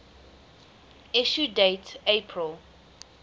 issue date april